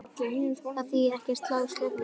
Það þýðir ekki að slá slöku við í djamminu.